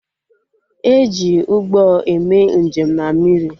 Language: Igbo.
E ji Ụgbọ eme njem na mmiri